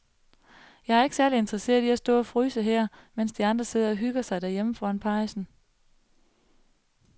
Jeg er ikke særlig interesseret i at stå og fryse her, mens de andre sidder og hygger sig derhjemme foran pejsen.